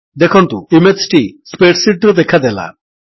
ଦେଖନ୍ତୁ ଇମେଜ୍ ଟି spreadsheet ରେ ଦେଖାଦେଲା